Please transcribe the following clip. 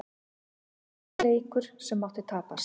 Þetta var ekki leikur sem mátti tapast.